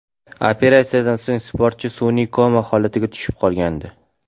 Operatsiyadan so‘ng sportchi sun’iy koma holatiga tushib qolgandi.